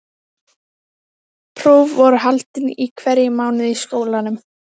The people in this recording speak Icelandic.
Snót, hvernig er veðrið úti?